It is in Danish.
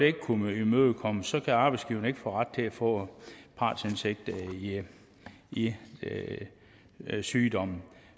ikke kunne imødekommes så kan arbejdsgiveren ikke få ret til at få partsindsigt i sygdommen